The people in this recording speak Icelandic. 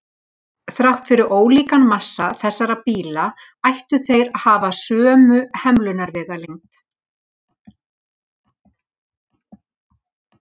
Þrátt fyrir ólíkan massa þessara bíla ættu þeir að að hafa sömu hemlunarvegalengd.